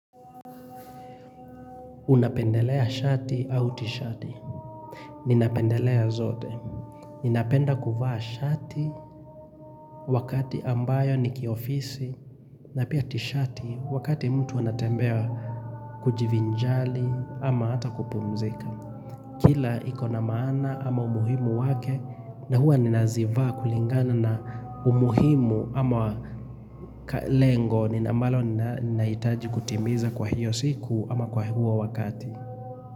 Unapendelea shati au tishati? Ninapendelea zote. Ninapenda kuvaa shati wakati ambao ni wa kiofisi na pia tishati wakati mtu anatembea kujivinjari au hata kupumzika. Kila ikona maana ama umuhimu wake na huwa ninazivaa kulingana na umuhimu ama lengo ambalo ninahitaji kutimiza kwa hiyo siku ama kwa huo wakati.